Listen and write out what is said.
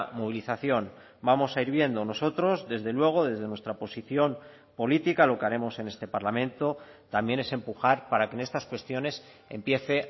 movilización vamos a ir viendo nosotros desde luego desde nuestra posición política lo que haremos en este parlamento también es empujar para que en estas cuestiones empiece